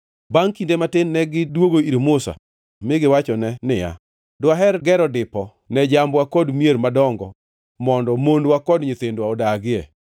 Bangʼ kinde matin negidwogo ir Musa mi giwachone niya, “Dwaher gero dipo ne jambwa kod mier madongo mondo mondwa kod nyithindwa odagie.